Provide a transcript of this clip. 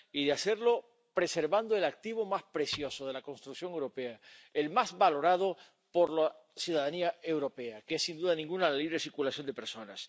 Y de hacerlo preservando el activo más precioso de la construcción europea, el más valorado por la ciudadanía europea, que es, sin duda ninguna, la libre circulación de personas.